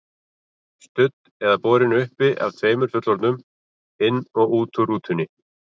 Studd eða borin uppi af tveimur fullorðnum, inn og út úr rútunni.